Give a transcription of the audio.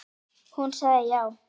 Hún sagði já.